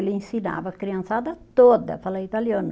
Ele ensinava a criançada toda a falar italiano.